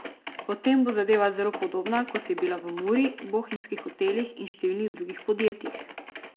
Potem bo zadeva zelo podobna, kot je bila v Muri, bohinjskih hotelih in številnih drugih podjetjih.